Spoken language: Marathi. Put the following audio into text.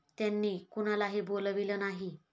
त्यांनी कुणालाही बोलाविलं नाही.